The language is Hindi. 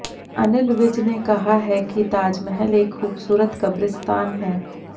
अनिल विज ने कहा है कि ताजमहल एक खूबसूरत कब्रिस्तान है